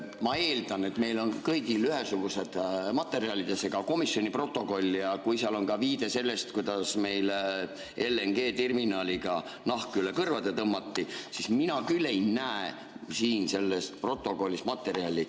Ma eeldan, et meil on kõigil ühesugused materjalid, ka komisjoni protokoll, ja kui seal on ka viide selle kohta, kuidas meil LNG-terminaliga nahk üle kõrvade tõmmati, siis mina küll ei näe siin selles protokollis sellist materjali.